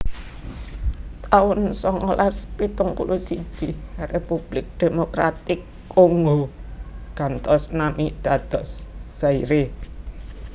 taun songolas pitung puluh siji Republik Demokratik Kongo gantos nami dados Zaire